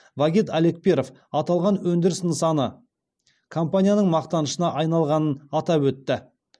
вагит алекперов аталған өндіріс нысаны компанияның мақтанышына айналғанын атап өтті